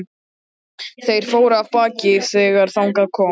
Þeir fóru af baki þegar þangað kom.